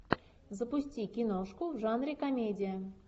запусти киношку в жанре комедия